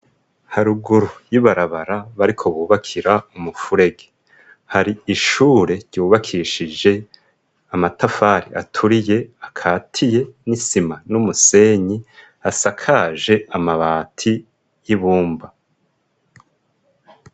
Haruguru y'ibarabara bariko bubakira umufurege. Hari ishure ryubakishije amatafari aturiye akatiye n'isima n'umusenyi, asakaje amabati y'ibumba.